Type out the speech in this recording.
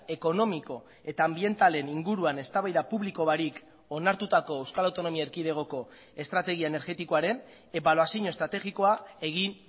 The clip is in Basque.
ekonomiko eta anbientalen inguruan eztabaida publiko barik onartutako euskal autonomia erkidegoko estrategia energetikoaren ebaluazio estrategikoa egin